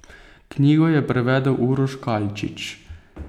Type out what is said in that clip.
Knjigo je prevedel Uroš Kalčič.